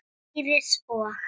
Íris og